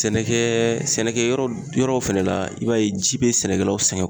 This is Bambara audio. Sɛnɛkɛ sɛnɛkɛ yɔrɔw fɛnɛ la i b'a ye ji be sɛnɛkɛlaw sɛgɛn